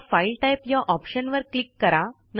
आता file type या ऑप्शनवर क्लिक करा